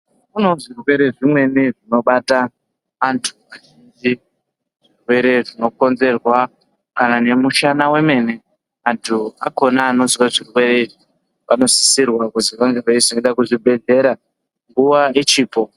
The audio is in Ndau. Kunewo zvirwere zvimweni zvinobata antu zvirwere zvinokonzerwa kana nemishana yemene antu akona anozwa zvirwere anosisirwa kuti ange eizoenda kuzvibhedhlera Nguwa ichipo.